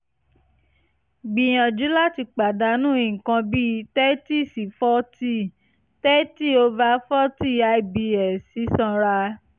gbìyànjú láti pàdánù nǹkan bíi thirty sí forty thirty over forty i-b-s sísanra